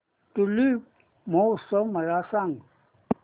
tulip महोत्सव मला सांग